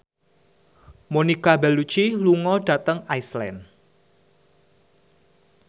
Monica Belluci lunga dhateng Iceland